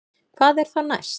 Hvað er þá næst